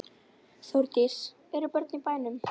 Þórdís: Eru börnin í bænum?